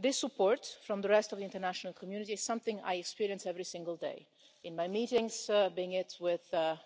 This support from the rest of the international community is something I experience every single day in my meetings, be it with the